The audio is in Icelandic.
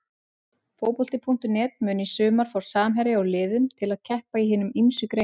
Fótbolti.net mun í sumar fá samherja úr liðum til að keppa í hinum ýmsu greinum.